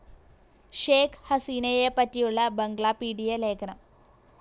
ഷെയ്ഖ്‌ ഹസീനയെപ്പറ്റിയുള്ള ബംഗ്ലാപീഡിയ ലേഖനം